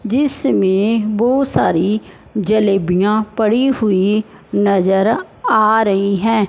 जिसमें बहुत सारी जलेबियां पड़ी हुई नजर आ रही हैं।